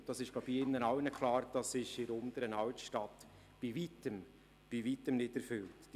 Ich glaube, es ist allen klar, dass dies in der Unteren Altstadt bei Weitem nicht erfüllt ist.